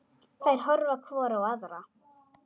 Þær horfa hvor á aðra.